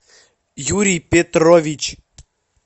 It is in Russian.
юрий петрович